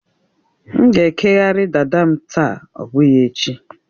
M ga-ekeghari dada m taa, ọ bụghị echi